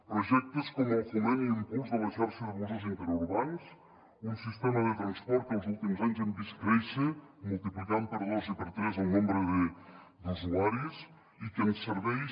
projectes com el foment i impuls de la xarxa de busos interurbans un sistema de transport que els últims anys hem vist créixer multiplicant per dos i per tres el nombre d’usuaris i que ens serveix